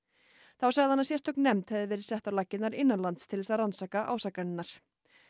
þá sagði hann að sérstök nefnd hefði verið sett á laggirnar innanlands til þess að rannsaka ásakanirnar